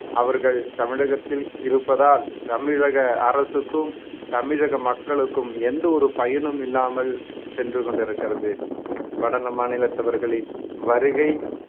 அவர்கள் தமிழகத்தில் இருப்பதால் தமிழக அரசுக்கும் தமிழக மக்களுக்கும் எந்த ஒரு பயனும் இல்லாமல் சென்று கொண்டிருக்கிறது வடல மாநிலத்தவர்களின் வருகை